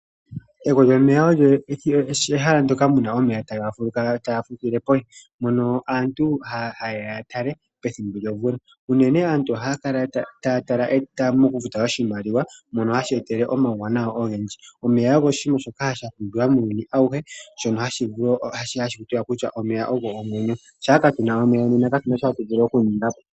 Egwo lyomeya olyo ehala ndoka muna omeya taga fulukile pondje ndono aantu hayeya yatale pethimbo lyomvula, unene aantu ohaya kala taa tala noku futa oshimaliwa shono hashi tu etele omauwanawa ogendji. Omeya ogo oshinima shoka shapumbiwa muuyuni awuhe shono hakutiwa omeya ogo omwenyo, shaa kaatuna omeya nena katuna sho atu vulu okuninga po.